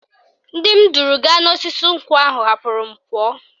Ndị m duru gaa n'osisi nkwụ ahụ hapụrụ m pụọ